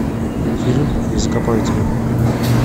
фильм я закопаю тебя